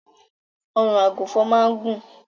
Ọrùn àgùnfọn máa ń gùn.